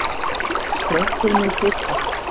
Strengur minn titrar.